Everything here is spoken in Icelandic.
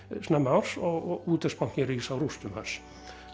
snemma árs og Útvegsbankinn rís á rústum hans